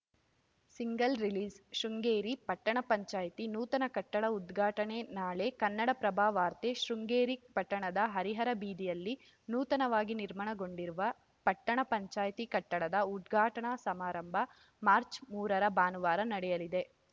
single release Sringeri ಪಟ್ಟಣ ಪಂಚಾಯಿತಿ ನೂತನ ಕಟ್ಟಡ ಉದ್ಘಾಟನೆ ನಾಳೆ ಕನ್ನಡಪ್ರಭವಾರ್ತೆ ಶೃಂಗೇರಿ ಪಟ್ಟಣದ ಹರಿಹರ ಬೀದಿಯಲ್ಲಿ ನೂತನವಾಗಿ ನಿರ್ಮಾಣಗೊಂಡಿರುವ ಪಟ್ಟಣ ಪಂಚಾಯಿತಿ ಕಟ್ಟಡದ ಉದ್ಘಾಟನಾ ಸಮಾರಂಭ ಮಾರ್ಚ್ ಮೂರರ ಭಾನುವಾರ ನಡೆಯಲಿದೆ